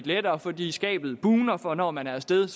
lettere fordi skabet bugner for når man er af sted